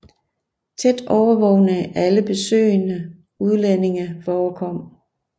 Tæt overvågning af alle besøgende udlændinge forekom